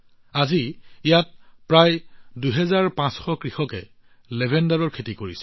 আজি প্ৰায় আঢ়ৈ হাজাৰ কৃষকে ইয়াত লেভেণ্ডাৰৰ খেতি কৰি আছে